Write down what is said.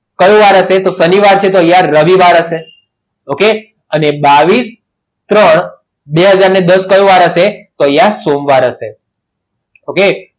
કયો વાર હશે તો શનિવાર હશે અરે યાર રવિવાર હશે okay અને બાવીસ ત્રણ બે હાજર દસ કયું વાર હશે તો અહીંયા સોમવાર હશે okay